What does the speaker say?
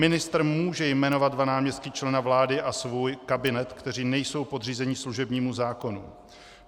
Ministr může jmenovat dva náměstky člena vlády a svůj kabinet, kteří nejsou podřízeni služebnímu zákonu.